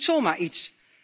Dat is niet zomaar iets.